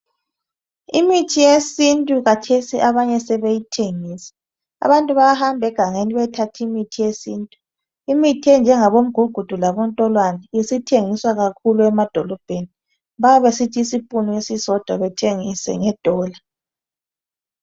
Imithi yesintu khathesi abanye sebeyithengisa. Abantu bayahamba egangeni beyethatha imithi yesintu. Imithi enjengabomgugudu labontolwane isithengiswa kakhulu emadolobheni bayabe besithi isipunu esisodwa bathengise ngedola.